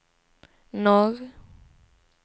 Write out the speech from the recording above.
norr